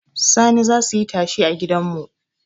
Sani zasu yi tashe a gidanmu